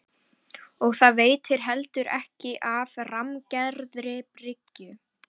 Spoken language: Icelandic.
Og það veitti heldur ekki af rammgerðri bryggju.